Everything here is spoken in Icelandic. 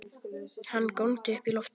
Hann góndi upp í loftið!